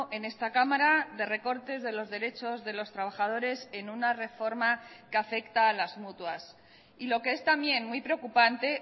en esta cámara de recortes de los derechos de los trabajadores en una reforma que afecta a las mutuas y lo que es también muy preocupante